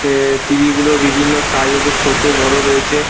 তে-এ T. V. গুলো বিভিন্ন size -এ ছোটো বড়ো রয়েছে।